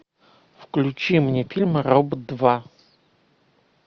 включи мне фильм робот два